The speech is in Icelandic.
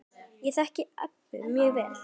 Ég þekki Eddu mjög vel.